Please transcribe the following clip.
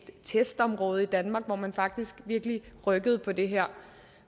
testområde i danmark hvor man faktisk virkelig rykkede på det her